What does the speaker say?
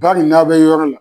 yɔrɔ min na